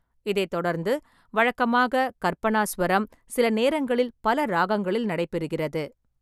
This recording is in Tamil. இதைத் தொடர்ந்து வழக்கமாக கற்பனாசுவரம், சில நேரங்களில் பல ராகங்களில் நடைபெறுகிறது.